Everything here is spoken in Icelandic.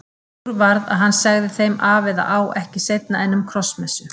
Úr varð að hann segði þeim af eða á ekki seinna en um Krossmessu.